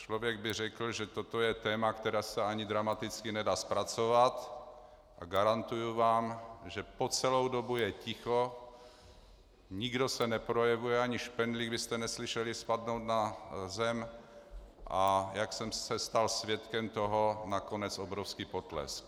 Člověk by řekl, že toto je téma, které se ani dramaticky nedá zpracovat, a garantuji vám, že po celou dobu je ticho, nikdo se neprojevuje, ani špendlík byste neslyšeli spadnout na zem, a jak jsem se stal svědkem toho, nakonec obrovský potlesk.